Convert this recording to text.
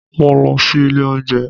Mo lọ sí ilé óúnjẹ